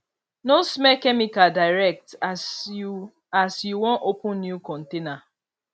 no smell chemical direct as you as you wan open new container